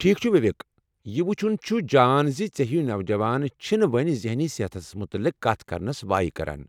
ٹھیک چُھ وویک، یہ وُچُھن چُھ جان زِ ژے٘ ہِوۍ نوجوان چھنہٕ وۄنۍ ذہنی صحتس متعلق کتھ کرنس وایہ كران ۔